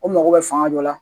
O mago bɛ fanga dɔ la